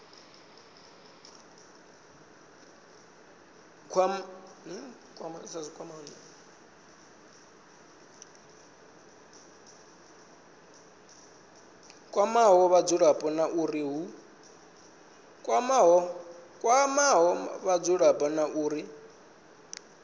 kwamaho vhadzulapo na uri hu